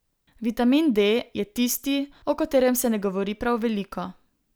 Vitamin D je tisti, o katerem se ne govori prav veliko.